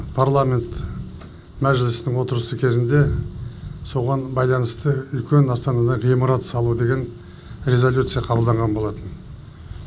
парламент мәжілісінің отырысы кезінде соған байланысты үлкен астанада ғимарат салу деген резолюция қабылданған болатын